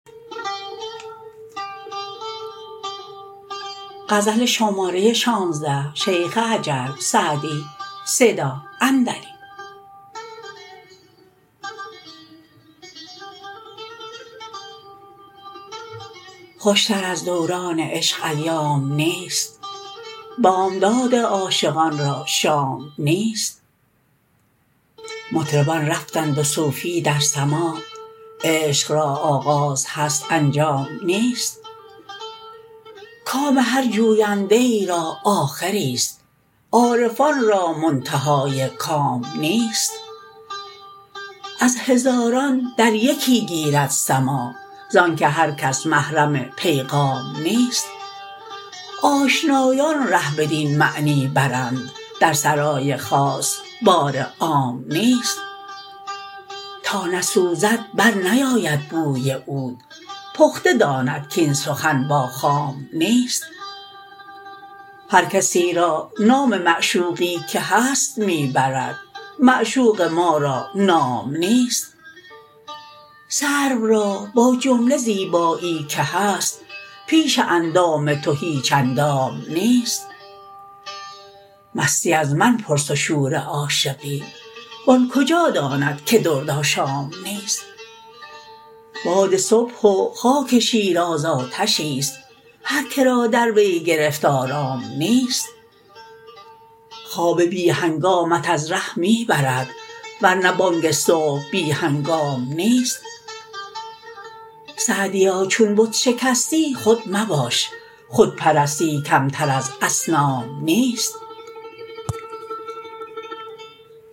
خوشتر از دوران عشق ایام نیست بامداد عاشقان را شام نیست مطربان رفتند و صوفی در سماع عشق را آغاز هست انجام نیست کام هر جوینده ای را آخریست عارفان را منتهای کام نیست از هزاران در یکی گیرد سماع زآن که هر کس محرم پیغام نیست آشنایان ره بدین معنی برند در سرای خاص بار عام نیست تا نسوزد برنیاید بوی عود پخته داند کاین سخن با خام نیست هر کسی را نام معشوقی که هست می برد معشوق ما را نام نیست سرو را با جمله زیبایی که هست پیش اندام تو هیچ اندام نیست مستی از من پرس و شور عاشقی و آن کجا داند که درد آشام نیست باد صبح و خاک شیراز آتشیست هر که را در وی گرفت آرام نیست خواب بی هنگامت از ره می برد ور نه بانگ صبح بی هنگام نیست سعدیا چون بت شکستی خود مباش خود پرستی کمتر از اصنام نیست